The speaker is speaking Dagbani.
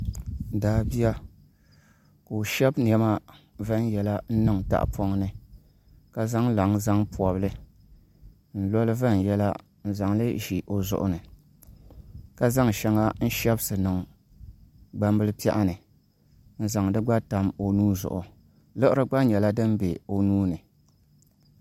Daabia ka o shɛbi niɛma viɛnyɛla n niŋ tahapoŋ ni ka zaŋ laŋ zaŋ pobili n loli viɛnyɛla n zaŋli ʒi o zuɣu ni ka zaŋ shɛŋa n shɛbisi niŋ gbambili piɛɣu ni n zaŋ di gba tam o nuu zuɣu liɣiri gba nyɛla din bɛ o nuuni